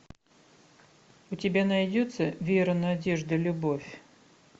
у тебя найдется вера надежда любовь